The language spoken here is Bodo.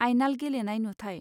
आइनाल गेलेनाय नुथाय.